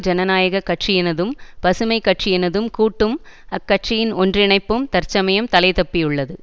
ஜனநாயக கட்சியினதும் பசுமை கட்சியினதும் கூட்டும் அக்கட்சியின் ஒன்றிணைப்பும் தற்சமயம் தலைதப்பியுள்ளது